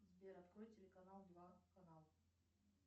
сбер открой телеканал два канал